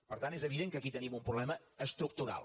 per tant és evident que aquí tenim un problema estructural